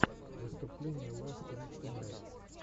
выступление ласт вик тунайт